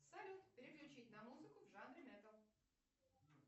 салют переключить на музыку в жанре металл